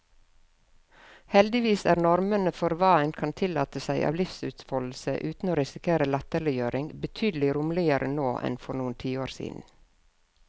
Heldigvis er normene for hva en kan tillate seg av livsutfoldelse uten å risikere latterliggjøring, betydelig romsligere nå enn for noen tiår siden.